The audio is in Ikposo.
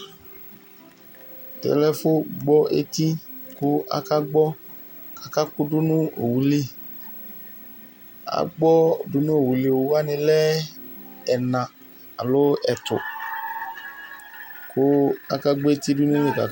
Tɛlɛ efʋ gbɔ eti kʋ akagbɔ kakʋdʋ nʋ owʋlɩ agbɔ dʋnʋ owʋlɩ, owʋwani lɛ ɛna alʋ ɛtʋ kʋ akagbɔ eti dʋnʋ.